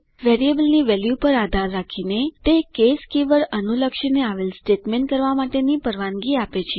વેરિયેબલની વેલ્યુ પર આધાર રાખીને તે કેસ કીવર્ડ અનુલક્ષીને આવેલ સ્ટેટમેન્ટ કરવા માટે પરવાનગી આપે છે